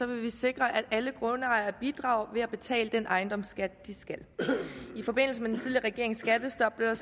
vi sikre at alle grundejere bidrager ved at betale den ejendomsskat de skal i forbindelse med den tidligere regerings skattestop blev